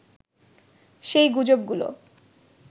সেই গুজবগুলো